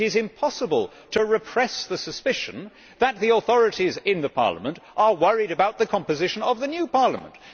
It is impossible to repress the suspicion that the authorities in Parliament are worried about the composition of the new Parliament